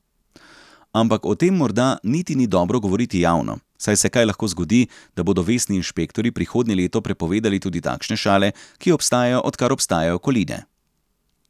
Ampak o tem morda niti ni dobro govoriti javno, saj se kaj lahko zgodi, da bodo vestni inšpektorji prihodnje leto prepovedali tudi takšne šale, ki obstajajo, odkar obstajajo koline.